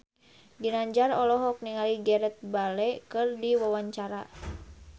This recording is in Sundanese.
Ginanjar olohok ningali Gareth Bale keur diwawancara